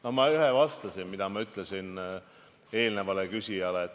No ma ühe asja vastasin, nagu ma ütlesin eelmisele küsijale.